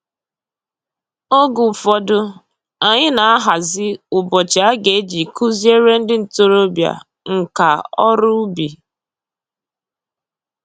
Oge ụfọdụ, anyị na-ahazi ụbọchị a ga-eji kụziere ndị ntoroọbịa nka ọrụ ubi